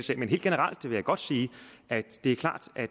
sag men helt generelt vil jeg godt sige at det er klart at